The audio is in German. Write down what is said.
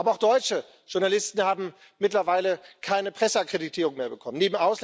Aber auch deutsche Journalisten haben mittlerweile keine Presseakkreditierung mehr bekommen.